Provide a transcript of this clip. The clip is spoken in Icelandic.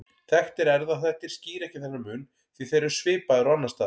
Þekktir erfðaþættir skýra ekki þennan mun því þeir eru svipaðir og annars staðar.